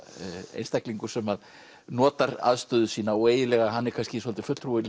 einstaklingur sem að notar aðstöðu sína og hann er kannski svolítið fulltrúi